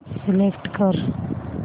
select कर